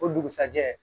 O dugusɛjɛ